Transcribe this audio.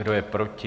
Kdo je proti?